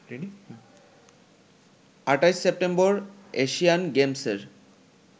২৮ September Asian গেমসের